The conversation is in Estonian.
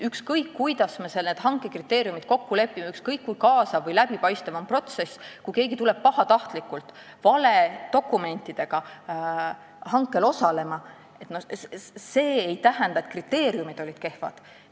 Ükskõik, kuidas me hanke kriteeriumites kokku lepime, ükskõik, kui kaasav või läbipaistev on protsess – kui keegi tuleb pahatahtlikult hankele valedokumentidega osalema, siis see ei tähenda, et kriteeriumid on kehvad.